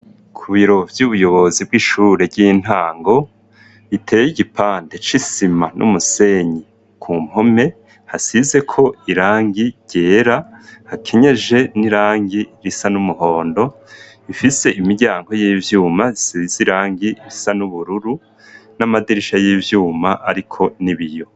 Ku birobo vy'ubuyobozi bw'ishure ry'intango iteye igipande cisima n'umusenyi ku mpome hasize ko irangi gyera hakenyeje n'irangi risa n'umuhondo ifise imiryango y'ivyuma isize irangi risa n'ubururu n'amadirisha y'ivyuma ariko n'ibiyo.